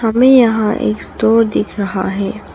हमें यहां एक स्टोर दिख रहा है।